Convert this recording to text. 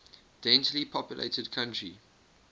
densely populated country